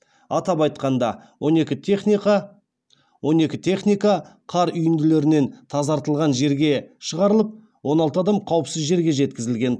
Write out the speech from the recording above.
атап айтқанда он екі техника қар үйінділерінен тазартылған жерге шығарылып он алты адам қауіпсіз жерге жеткізілген